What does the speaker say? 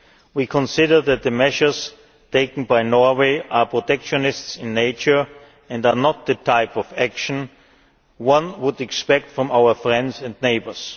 We consider that the measures taken by Norway are protectionist in nature and are not the type of action one would expect from our friends and neighbours.